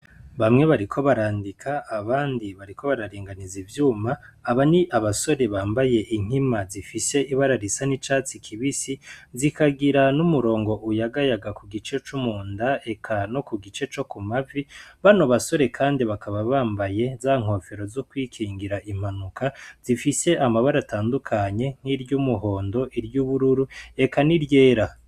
Bamwe bariko barandika, abandi bariko bararinganiza ivyuma. Aba ni abasore bambaye inkima zifise ibara risa n’icatsi kibisi zikagira n’umurongo uyagayaga ku gice co mu nda eka no ku gice co ku mavi. Bano basore kandi bakaba bambaye za nkoforo zo kwikingira impanuka zifise amabara atandukanye nk’iryumuhondo, iryubururu eka n’iryera.